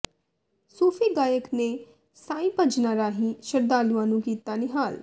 ਸੂਫ਼ੀ ਗਾਇਕ ਨੇ ਸਾਈਾ ਭਜਨਾਂ ਰਾਹੀਂ ਸ਼ਰਧਾਲੂਆਂ ਨੂੰ ਕੀਤਾ ਨਿਹਾਲ